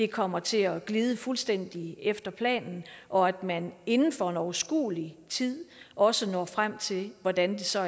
kommer til at glide fuldstændig efter planen og at man inden for en overskuelig tid også når frem til hvordan man så